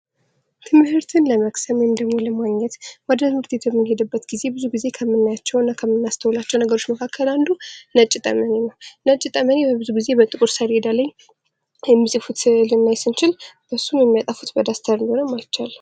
ትምህርትን ለመቅሰም ወይም ደግሞ ለማግኘት ወደ ትምህርት ቤት የምንሄድበት ጊዜ ብዙ ጊዜ ከምናያቸው እና ከምናስተውላቸው ነገሮች መካከል አንዱ ነጭ ጠመኔ ነው ። ነጭ ጠመኔ ብዙ ጊዜ በጥቁር ሰሌዳ ላይ የሚፅፉት ስንል ስንችል እሱን የሚያጠፉት በዳስተር እንደሆነ ማለት እንችላለን ።